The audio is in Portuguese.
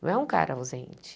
Não é um cara ausente.